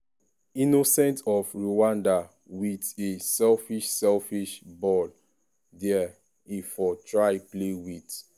innocent of rwanda wit a selfish selfish ball dia e for try play wit